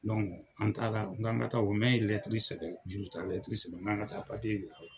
an taara k'an ka taa nɛ ye lɛtiri sɛbɛn juru ta lɛtiri sɛbɛn n k'an ka taa yira.